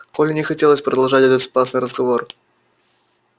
коле не хотелось продолжать этот опасный разговор